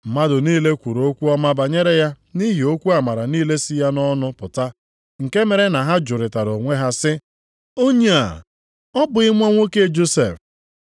Mmadụ niile kwuru okwu ọma banyere ya nʼihi okwu amara niile si ya nʼọnụ pụta nke mere na ha jụrịtara onwe ha sị, “Onye a, ọ bụghị nwa nwoke Josef?”